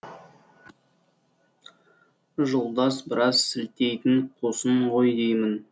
жолдас біраз сілтейтін қусың ғой деймін